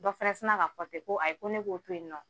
Dɔ fɛnɛ sina k'a fɔ ten ko ayi ko ne k'o to yen nɔ